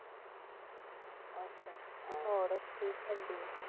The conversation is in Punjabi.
ਅੱਛਾ ਹੋਰ ਠੀਕ ਰਹਿੰਦੀ ਏ।